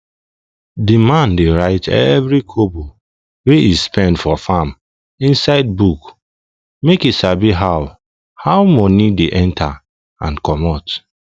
the man dey write every kobo wey e spend for farm inside book make e sabi how how money dey enter and commot